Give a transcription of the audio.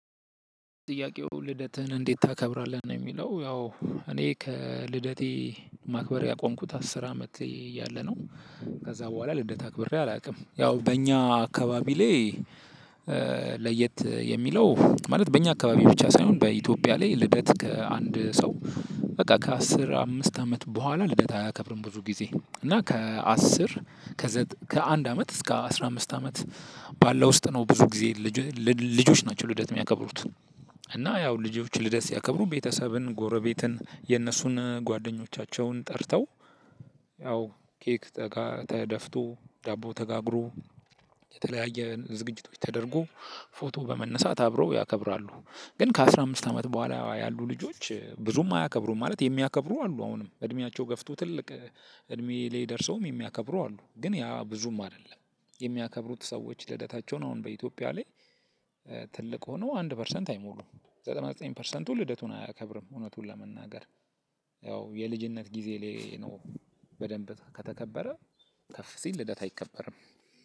ጥያቄው ልደትህን እንዴት ታክብራለህ ነው የሚለው? ያው እኔ ከልደቴ ማክበር ያቆምኩት አስር አመት እያለሁ ነው። ከዛ በኋላ ልደት አክብሬ አላውቅም ያው በእኛ አካባቢ ላይ። ለየት የሚለው ማለት በእኛ አካባቢ ብቻ ሳይሆን በኢትዮጵያ ላይ ልደት ከአንድ ሰው በቃ ከአስር አምስት አመት በኋላ ልደት አያከብርም። ብዙ ጊዜ እና ከአስር ከአንድ አመት እስከ አስራ አምስት አመት። ባለው ውስጥ ነው ብዙ ጊዜ። ልጆች ናቸው ልደት የሚያከብሩት። እና ያው ልጆችን ልደት ሲያከብሩ ቤተሰብን ጎረቤትን የነሱን ጓደኞቻቸውን ጠርተው ያው ኬክ ተደፍቶ ዳቦ ተጋግሮ የተለያየ ዝግጅቶች ተደርጎ ፎቶ በመነሳት አብረው ያከብራሉ። ግን ከአስራ አምስት አመት በኋላ ያሉ ልጆች ብዙም አያከብሩም ማለት የሚያከብሩ አሉ። አሁንም እድሜያቸው ገፍቶ ትልቅ እድሜ ላይ ደርሰውም የሚያከብሩ አሉ። ግን ያ ብዙም አይደለም የሚያከብሩት ሰዎች ልደታቸውን አሁን በኢትዮጵያ ላይ። ትልቅ ሆነው አንድ ፐርሰንት አይሞሉም። ዘጠና ዘጠኝ ፐርሰንቱ ልደቱን አያከብርም እውነቱን ለመናገር። ያው የልጅነት ጊዜ ነው ላይ በደንብ ከተከበረ። ከፍ ሲል ልደት አይከበርም።